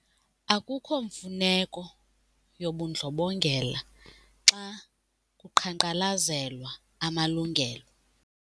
Akukho mfuneko yobundlobongela xa kuqhankqalazelwa amalungelo.